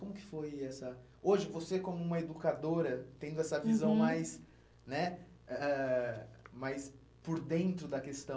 Como que foi essa... Hoje, você como uma educadora, tendo essa visão, uhum, mais né ãh ãh mais por dentro da questão,